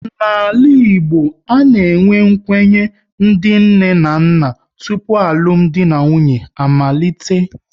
N'ala Igbo, a na-enwe nkwenye ndị nne na nna tụpụ alụmdi na nwunye amalite